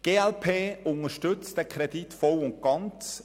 Die glp unterstützt den Kredit voll und ganz.